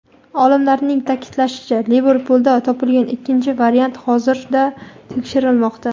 Olimlarning ta’kidlashicha, Liverpulda topilgan ikkinchi variant hozirda "tekshirilmoqda".